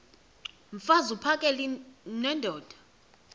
mfaz uphakele nendoda